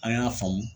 An y'a faamu